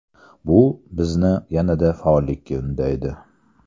Bu bizni yanada faollikka undaydi.